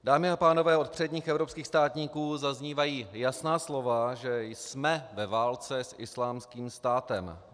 Dámy a pánové, od předních evropských státníků zaznívají jasná slova, že jsme ve válce s Islámským státem.